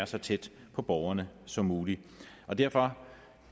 så tæt på borgerne som muligt derfor